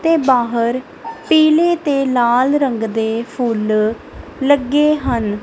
ਤੇ ਬਾਹਰ ਪੀਲੇ ਤੇ ਲਾਲ ਰੰਗ ਦੇ ਫੁੱਲ ਲੱਗੇ ਹਨ।